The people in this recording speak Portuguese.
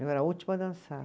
Eu era a última a dançar.